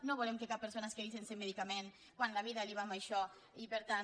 no volem que cap persona es quedi sense medicaments quan la vida li va en això i per tant